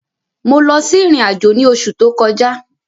Mo lọ sí ìrìn àjò ní oṣù tó kọjá.